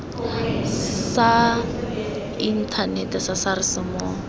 sa inthanete sa sars mo